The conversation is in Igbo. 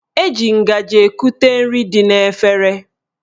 Eji ngaji ekute nri dị n'efere